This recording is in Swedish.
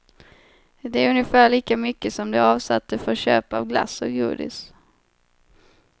Det är ungefär lika mycket som de avsatte för köp av glass och godis.